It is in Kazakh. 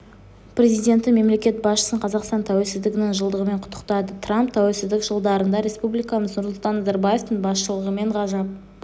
президенті мемлекет басшысын қазақстан тәуелсіздігінің жылдығымен құттықтады трамп тәуелсіздік жылдарында республикамыз нұрсұлтан назарбаевтың басшылығымен ғажап